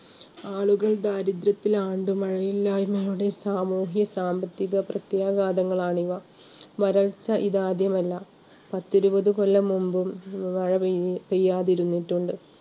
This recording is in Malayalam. ആളുകൾ ദാരിദ്ര്യത്തിലാണ്ടു മഴയില്ലായ്മയോടെ സാമൂഹിക സാമ്പത്തികപ്രത്യാഘാതങ്ങളാണ് ഇവ. വരൾച്ച ഇത് ആദ്യമല്ല പത്തിരുപത് കൊല്ലം മുമ്പും മഴ പെയ്യാതിരുന്നിട്ടുണ്ട്.